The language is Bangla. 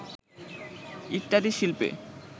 ইত্যাদি শিল্পে